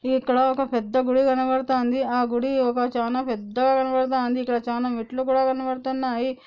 ఈ ఇక్కడ ఒక పెద్ద గుడి కనబడుతంది ఆ గుడి ఒక చాన పెద్ద గా కనబడుతుంది ఇక్కడ చాన మెట్లు కూడా కనబడుతన్నాయి.